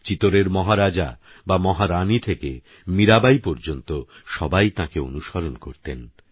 চিতোরেরমহারাজাবামহারানীথেকেমীরাবাঈপর্যন্তসবাইতাঁকেঅনুসরণকরতেন